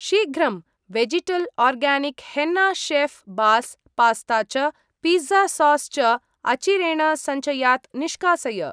शीघ्रं! Vegetal organic henna शेऴ् बास् पास्ता च पिज़्ज़ा सास् च अचिरेण सञ्चयात् निष्कासय।